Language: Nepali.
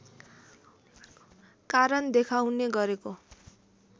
कारण देखाउने गरेको